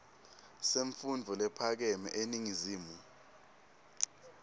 semfundvo lephakeme eningizimu